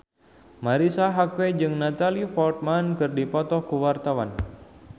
Marisa Haque jeung Natalie Portman keur dipoto ku wartawan